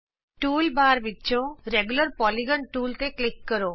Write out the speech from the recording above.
toolbar ਵਿਚੋਂ regular polygon regular Polygon tool ਤੇ click ਕਰੋ